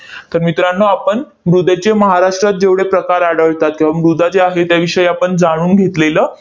तर मित्रांनो, आपण मृदेचे महाराष्ट्रात जेवढे प्रकार आढळतात किंवा मृदा जी आहे, त्याविषयी आपण जाणून घेतलेलं